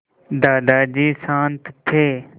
दादाजी शान्त थे